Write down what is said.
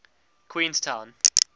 queenstown